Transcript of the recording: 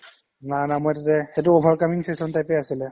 না না মই সেইটো যে সেইটো over coming session type য়ে আছিলে